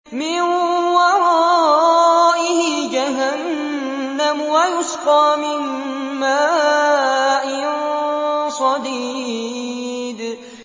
مِّن وَرَائِهِ جَهَنَّمُ وَيُسْقَىٰ مِن مَّاءٍ صَدِيدٍ